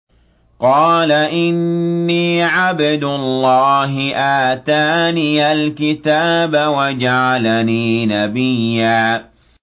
قَالَ إِنِّي عَبْدُ اللَّهِ آتَانِيَ الْكِتَابَ وَجَعَلَنِي نَبِيًّا